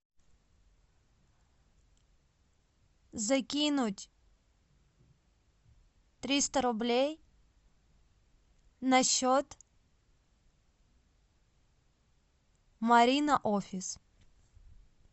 закинуть триста рублей на счет марина офис